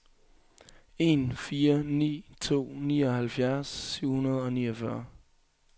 en fire ni to nioghalvfjerds syv hundrede og niogfyrre